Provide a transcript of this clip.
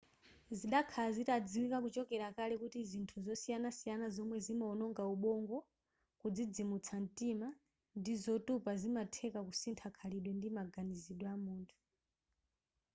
zidakhala zitadziwika kuchokera kale kuti zinthu zosiyanasiyana zomwe zimaononga ubongo kudzidzimutsa mtima ndi zotupa zimatheka kusintha khalidwe ndi maganizidwe amunthu